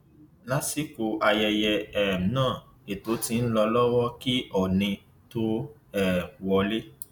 lásìkò ayẹyẹ um náà ètò ti ń lọ lọwọ kí oónì tóó um wọlé